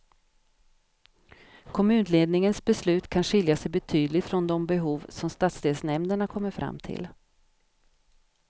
Kommunledningens beslut kan skilja sig betydligt från de behov som stadsdelsnämnderna kommer fram till.